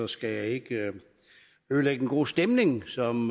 skal jeg ikke ødelægge den gode stemning som